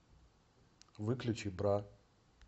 выключи бра